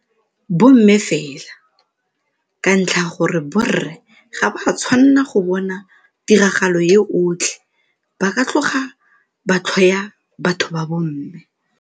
Bomme fela, ka ntlha ya gore borre ga ba tshwanela go bona tiragalo e otlhe ba ka tloga ba tlhoya batho ba bomme.